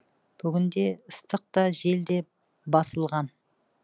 бүгінде ыстық та жел де басылған